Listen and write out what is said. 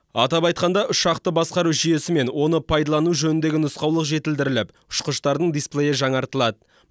атап айтқанда ұшақты басқару жүйесі мен оны пайдалану жөніндегі нұсқаулық жетілдіріліп ұшқыштардың дисплейі жаңартылады